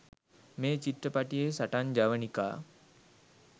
මේ චිත්‍රපටියෙ සටන් ජවනිකා